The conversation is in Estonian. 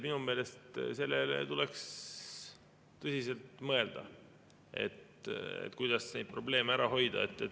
Minu meelest tuleks tõsiselt mõelda, kuidas neid probleeme ära hoida.